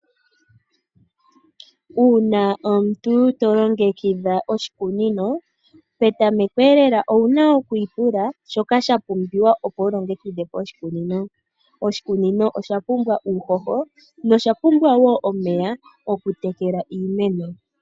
Uuna omuntu tolongekidha oshikunino petamekolela owu na okwiipula shoka shapumbiwa opo wu longekidhe oshikunino. Oshikunino osha pumbwa uuhoho nosha pumbwa wo omeya, okutekela iimeno.